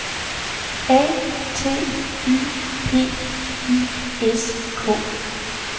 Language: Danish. A T Y P I S K